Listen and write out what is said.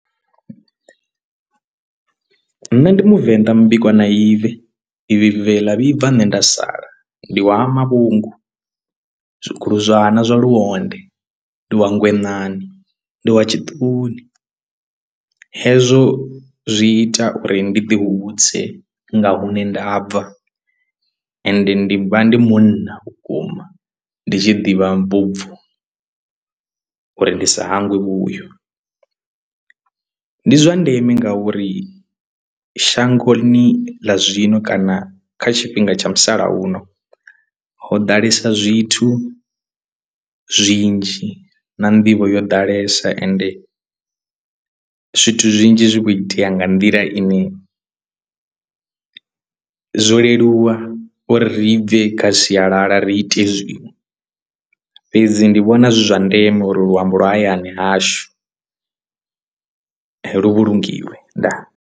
Nṋe ndi muvenḓa mubikwa na ibve ibve ḽa vhibva nṋe nda sala ndi wa malungu zwiguluzwana zwa lunde ndi wa ngwenani ndi wa tshiṱuni hezwo zwi ita uri ndi ḓihudze nga hune ndabva ende ndi vha ndi munna vhukuma ndi tshi ḓivha vhubvo uri ndi sa hangwe vhuyo. Ndi zwa ndeme ngauri shangoni ḽa zwino kana kha tshifhinga tsha musalauno ho ḓalesa zwithu zwinzhi na nḓivho yo ḓalesa ende zwithu zwinzhi zwi kho itea nga nḓila ine zwo leluwa uri ri bve kha sialala ri ite zwiṅwe fhedzi ndi vhona zwi zwa ndeme uri luambo lwa hayani hashu lu vhulungiwe ndaa!.